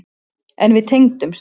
En við tengdumst.